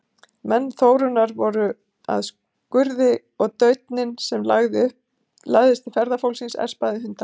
Menn Þórunnar voru að skurði og dauninn sem lagði til ferðafólksins espaði hundana.